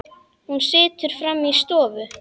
Hún situr frammi í stofu.